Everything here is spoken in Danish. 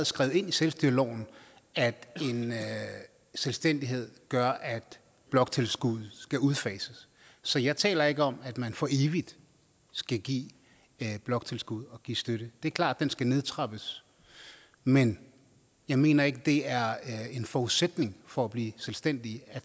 skrevet ind i selvstyreloven at en selvstændighed gør at bloktilskuddet skal udfases så jeg taler ikke om at man for evigt skal give bloktilskud og give støtte det er klart at den skal nedtrappes men jeg mener ikke det er en forudsætning for at blive selvstændig